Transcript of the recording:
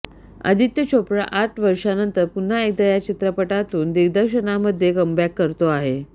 आदित्य चोप्रा आठ वर्षानंतर पुन्हा एकदा या चित्रपटातून दिग्दर्शनामध्ये कमबॅक करतो आहे